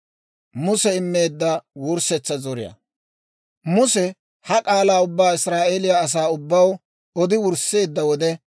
Muse ha k'aalaa ubbaa Israa'eeliyaa asaa ubbaw odi wursseedda wode,